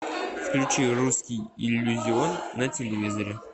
включи русский иллюзион на телевизоре